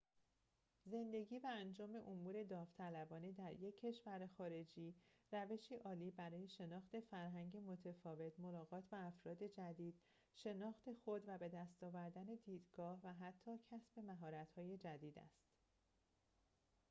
زندگی و انجام امور داوطلبانه در یک کشور خارجی روشی عالی برای شناخت فرهنگ متفاوت ملاقات با افراد جدید شناخت خود و بدست آوردن دیدگاه و حتی کسب مهارت‌های جدید است